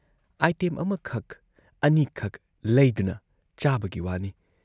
Item ꯑꯃꯈꯛ ꯑꯅꯤꯈꯛ ꯂꯩꯗꯨꯅ ꯆꯥꯕꯒꯤ ꯋꯥꯅꯤ ꯫